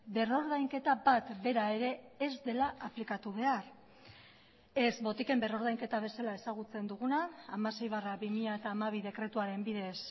berrordainketa bat bera ere ez dela aplikatu behar ez botiken berrordainketa bezala ezagutzen duguna hamasei barra bi mila hamabi dekretuaren bidez